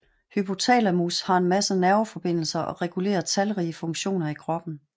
Hypothalamus har en masse nerveforbindelser og regulerer talrige funktioner i kroppen